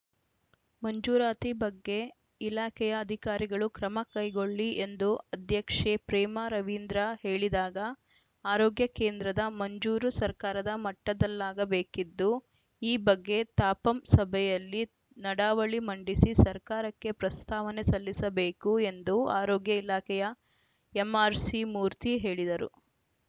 ಮಂಜೂರಾತಿ ಬಗ್ಗೆ ಇಲಾಖೆಯ ಅಧಿಕಾರಿಗಳು ಕ್ರಮಕೈಗೊಳ್ಳಿ ಎಂದು ಅಧ್ಯಕ್ಷೆ ಪ್ರೇಮಾ ರವೀಂದ್ರ ಹೇಳಿದಾಗ ಆರೋಗ್ಯ ಕೇಂದ್ರದ ಮಂಜೂರು ಸರ್ಕಾರದ ಮಟ್ಟದಲ್ಲಾಗಬೇಕಿದ್ದು ಈ ಬಗ್ಗೆ ತಾಪಂ ಸಭೆಯಲ್ಲಿ ನಡಾವಳಿ ಮಂಡಿಸಿ ಸರ್ಕಾರಕ್ಕೆ ಪ್ರಸ್ತಾವನೆ ಸಲ್ಲಿಸಬೇಕು ಎಂದು ಆರೋಗ್ಯ ಇಲಾಖೆಯ ಎಂಆರ್‌ಸಿಮೂರ್ತಿ ಹೇಳಿದರು